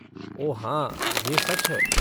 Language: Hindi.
ओह, हाँ, यह सच है।